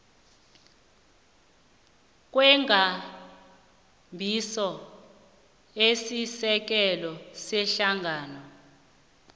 kwekambiso esisekelo yehlangano